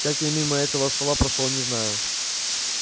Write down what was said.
как я мимо этого стола прошёл не знаю